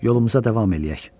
Yolumuza davam eləyək.